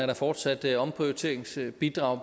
der fortsat et omprioriteringsbidrag